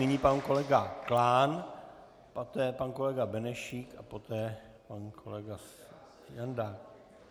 Nyní pan kolega Klán, poté pan kolega Benešík a poté pan kolega Jandák.